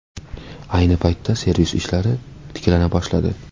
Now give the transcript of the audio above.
Ayni paytda servis ishlari tiklana boshladi.